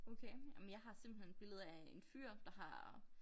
Okay ej men jeg har simpelthen billede af en fyr der har